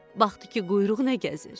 Baxdı ki, quyruq nə gəzir.